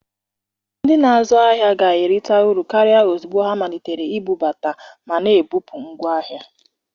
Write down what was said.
Ndị na-azụ ahịa ga-erita uru karịa ozugbo ha malitere ibubata ma na-ebupụ ngwa ahịa.